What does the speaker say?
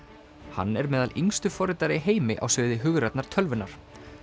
hann er meðal yngstu forritara í heimi á sviði hugrænnar tölvunar